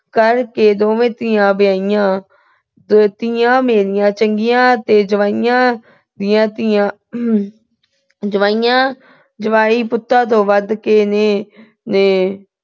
ਕਰਕੇ ਦੋਵੇਂ ਧੀਆਂ ਵਿਆਹੀਆਂ। ਧੀਆਂ ਮੇਰੀਆਂ ਚੰਗੀਆਂ ਤੇ ਜਵਾਈਆਂ ਦੀਆਂ ਧੀਆਂ ਜਵਾਈਆਂ ਅਹ ਜਵਾਈ ਪੁੱਤਾਂ ਤੋਂ ਵੱਧ ਕੇ ਨੇ ਤੇ